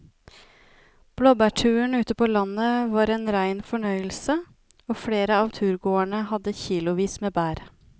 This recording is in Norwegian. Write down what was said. Blåbærturen ute på landet var en rein fornøyelse og flere av turgåerene hadde kilosvis med bær.